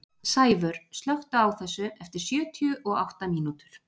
Sævör, slökktu á þessu eftir sjötíu og átta mínútur.